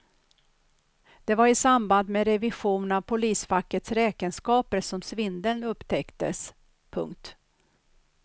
Det var i samband med revision av polisfackets räkenskaper som svindeln upptäcktes. punkt